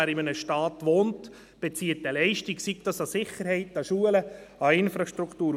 Wer in einem Staat wohnt, bezieht eine Leistung, wie etwa Sicherheit, Schulen und Infrastruktur.